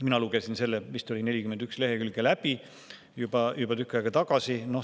Mina lugesin selle, mis ta oli, 41 lehekülge läbi juba tükk aega tagasi.